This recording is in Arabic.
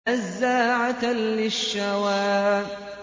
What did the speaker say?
نَزَّاعَةً لِّلشَّوَىٰ